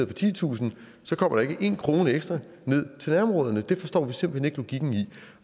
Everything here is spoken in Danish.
for titusind kommer der ikke én krone ekstra til nærområderne det forstår vi simpelt hen ikke logikken i